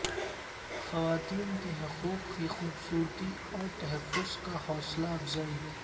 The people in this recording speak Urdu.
خواتین کے حقوق کی خوبصورتی اور تحفظ کا حوصلہ افزائی